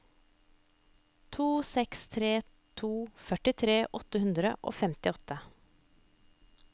to seks tre to førtitre åtte hundre og femtiåtte